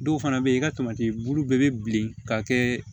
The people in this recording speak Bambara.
Dɔw fana bɛ yen i ka tamati bulu bɛɛ bɛ bilen ka kɛ